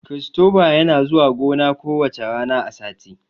Kiristoba yana zuwa gona ku wacca rana a sati